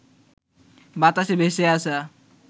বাতাসে ভেসে আসা